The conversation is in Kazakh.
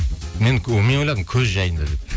мен ойладым көз жайында деп